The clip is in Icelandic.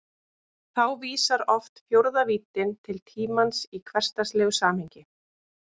Þá vísar oft fjórða víddin til tímans í hversdagslegu samhengi.